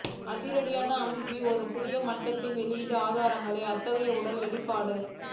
அதிகார அமைப்பின் ஒரு புதிய மட்டத்திற்கு வெளியீடு ஆதாரத்தின் அத்தகைய உடல் வெளிப்பாடு